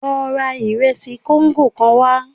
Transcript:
Lọ ra ìresì kóńgò kan wá